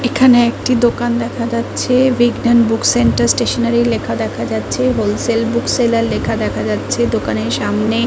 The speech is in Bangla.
এখানে একটি দোকান দেখা যাচ্ছেবিজ্ঞান বুক সেন্টার স্টেশনারি লেখা দেখা যাচ্ছেহোল সেল বুক সেলার দেখা যাচ্ছে দোকানের সামনে ।